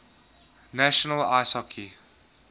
national ice hockey